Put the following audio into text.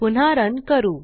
पुन्हा रन करू